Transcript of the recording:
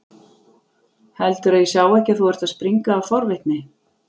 Heldurðu að ég sjái ekki að þú ert að springa af forvitni?